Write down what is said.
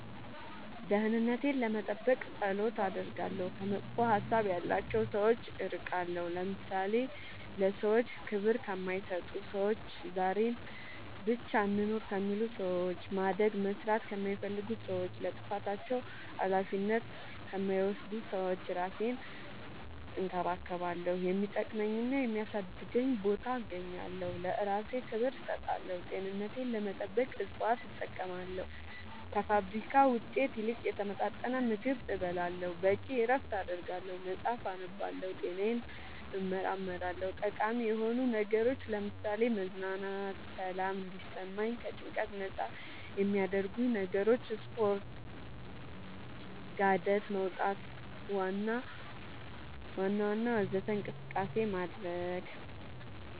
ደህንነቴን ለመጠበቅ ፀሎት አደርጋለሁ ከመጥፎ ሀሳብ ያላቸው ሰዎች እርቃለሁ ለምሳሌ ለሰዎች ክብር ከማይሰጡ ሰዎች ዛሬን ብቻ እንኑር ከሚሉ ሰዎች ማደግ መስራት ከማይፈልጉ ሰዎች ለጥፋታቸው አላፊነት ከማይወስዱ ሰዎች እራሴን እንከባከባለሁ የሚጠቅመኝና የሚያሳድገኝ ቦታ እገኛለሁ ለእራሴ ክብር እሰጣለሁ ጤንነቴን ለመጠበቅ እፅዋት እጠቀማለሁ ከፋብሪካ ውጤት ይልቅ የተመጣጠነ ምግብ እበላለሁ በቂ እረፍት አደርጋለሁ መፅአፍ አነባለሁ ጤናዬን እመረመራለሁ ጠቃሚ የሆኑ ነገሮች ለምሳሌ መዝናናት ሰላም እንዲሰማኝ ከጭንቀት ነፃ የሚያረጉኝ ነገሮች ስፓርት ጋደት መውጣት ዋና ወዘተ እንቅስቃሴ ማድረግ